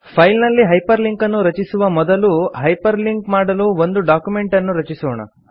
file ನಲ್ಲಿ hyperlink ಅನ್ನು ರಚಿಸುವ ಮೊದಲು ಹೈಪರ್ ಲಿಂಕ್ ಮಾಡಲು ಒಂದು ಡಕ್ಯುಮೆಂಟ್ ಅನ್ನು ರಚಿಸೋಣ